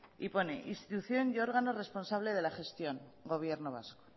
y pone institución y órgano responsable de la gestión gobierno vasco